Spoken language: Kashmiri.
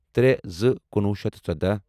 ترے زٕ کُنوہُ شیتھ ژۄداہ